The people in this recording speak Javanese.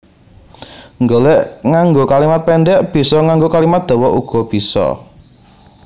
Nggolék nganggo kalimat péndhek bisa nganggo kalimat dawa uga bisa